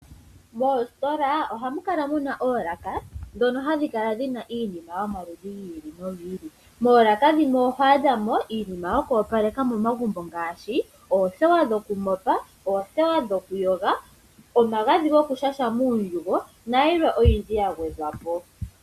Moostola ohamu kala muna oolaka moka hamu kala iinima yomaudhi giili no giili. Moolaka dhimwe oho adhamo iinima yoku opaleka momagumbo ngashi oothewa dhoku mopa, oothewa dhokuyoga, omagadhi goku shasha muundjugo na yilwe ya gwedhwapo.